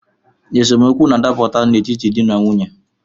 Esemeokwu na-adapụta n’etiti di na nwunye